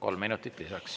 Kolm minutit lisaks.